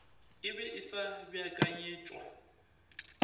e be e sa beakanyetšwa